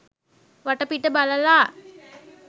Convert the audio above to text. වටපිට බලලා